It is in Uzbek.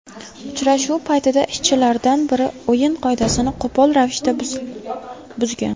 Uchrashuv paytida ishchilardan biri o‘yin qoidasini qo‘pol ravishda buzgan.